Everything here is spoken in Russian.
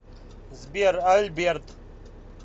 сбер альберт